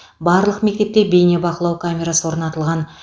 барлық мектепте бейнебақылау камерасы орнатылған